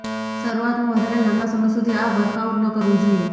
શરૂઆતમાં વધારે લાંબા સમય સુધી આ વર્કઆઉટ ન કરવું જોઈએ